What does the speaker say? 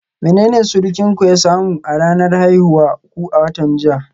Menene surukinku ya samu na ranar haihuwar ku a watan jiya?